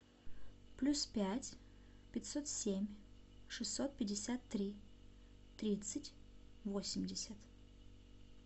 плюс пять пятьсот семь шестьсот пятьдесят три тридцать восемьдесят